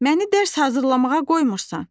Məni dərs hazırlamağa qoymursan.